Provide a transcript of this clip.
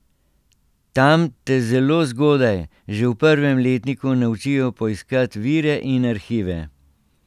Tam te zelo zgodaj, že v prvem letniku naučijo poiskat vire in arhive.